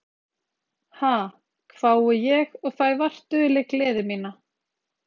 Ha, hvái ég og fæ vart dulið gleði mína.